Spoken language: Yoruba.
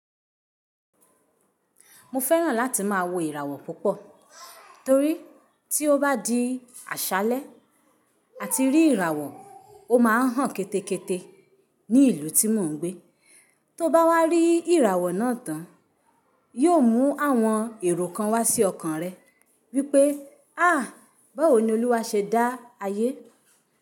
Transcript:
Mo fẹ́ràn láti má a wo ìràwọ̀ púpọ̀ torí tí ó bá di àṣálẹ́ àti rí ìràwọ̀, ó ma hán kẹ́tẹ́kẹ́tẹ́ ní ìlú tí mò ń gbé. Tó bá wá rí ìràwọ̀ náà tán, yóò mú àwọn èrò kan wá sí ọkàn rẹ wípé: àh! Báwo ni Olúwa ṣe dá ayé?